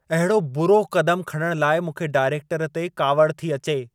अहिड़ो बुरो क़दम खणण लाइ मूंखे डाइरेक्टर ते कावड़ि थी अचे।